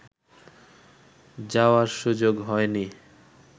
যাওয়ার সুযোগ হয়নি